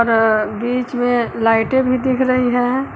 अह बीच में लाइटें भी दिख रही हैं।